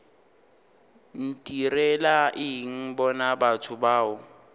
ntirela eng bona batho bao